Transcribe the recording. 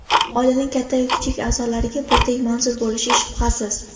Oilaning katta-yu kichik a’zolariga birdek manzur bo‘lishi shubhasiz.